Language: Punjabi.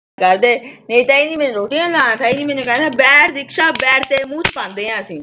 ਫੇਰ ਕਹੇ ਗੇਂ ਮੈਨੂੰ ਕਹਿੰਦੇ ਬੈਠ ਦਿਕਸ਼ਾ ਬੈਠ ਤੇਰੇ ਮੂੰਹ ਚ ਪਾਂਦੇ ਆਂ ਅਸੀਂ।